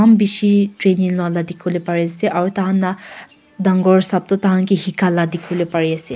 maan bishi training loila dikhiwole pariase aru thainla dangor sap tu taihan ke hika la dikhiwole pari ase.